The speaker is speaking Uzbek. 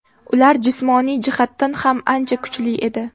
Ular jismoniy jihatdan ham ancha kuchli edi.